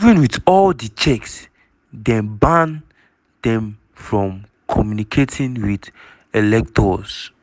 even wit all di checks dem ban dem from communicating wit electors.